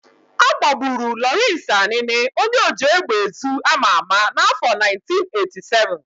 Agbagburu Lawrence Anini, onye oji égbèezu ama ama n'afọ 1987